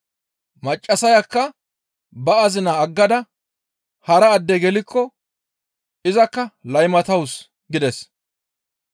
Maccassayakka ba azina aggada hara adde gelikko izakka laymatawus» gides.